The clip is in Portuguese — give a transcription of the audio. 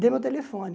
Dei meu telefone.